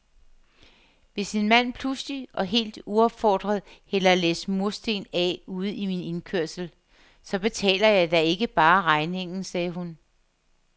Hvis en mand pludselig og helt uopfordret hælder et læs mursten af ude i min indkørsel, så betaler jeg da ikke bare regningen, sagde hun.